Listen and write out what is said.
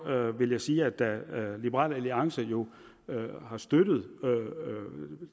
vil jeg sige at da liberal alliance jo har støttet